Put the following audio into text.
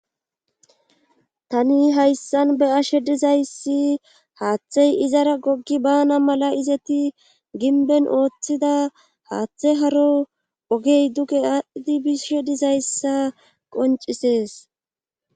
tani hayssan beyashe dizayssi haaththey izara goggi bana mala izeti ginben ooththida haaththe haro ogey duge aadhdhidi bishe dizayssa qoncisees.